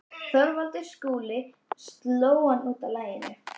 ÞORVALDUR: Skúli sló hann út af laginu.